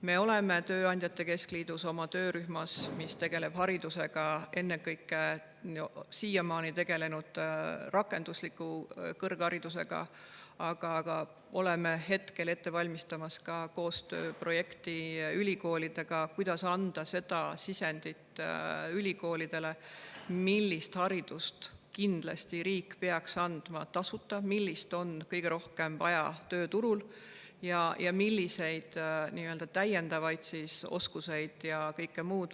Me oleme tööandjate keskliidu töörühmas, mis tegeleb haridusega, siiamaani tegelenud ennekõike rakendusliku kõrgharidusega, aga oleme ette valmistamas ka koostööprojekti ülikoolidega, et anda ülikoolidele sisendit, millist haridust riik peaks kindlasti andma tasuta ning millist on tööturul kõige rohkem vaja, milliseid täiendavaid oskusi ja kõike muud.